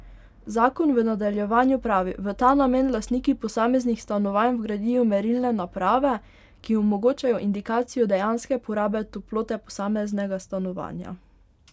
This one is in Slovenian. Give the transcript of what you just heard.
Zakon v nadaljevanju pravi: 'V ta namen lastniki posameznih stanovanj vgradijo merilne naprave, ki omogočajo indikacijo dejanske porabe toplote posameznega stanovanja.